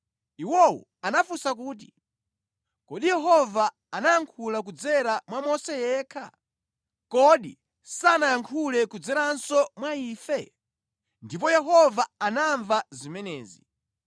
Iwowo anafunsa kuti, “Kodi Yehova anayankhula kudzera mwa Mose yekha? Kodi sanayankhule kudzeranso mwa ife?” Ndipo Yehova anamva zimenezi.